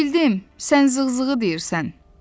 Bildim, sən zığ-zığı deyirsən.